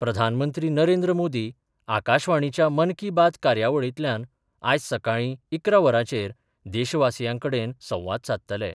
प्रधानमंत्री नरेंद्र मोदी आकाशवाणीच्या मन की बात कार्यावळीतल्यान आयज सकाळी इकरा वरांचेर देशवासीयांकडेन संवाद सादतले.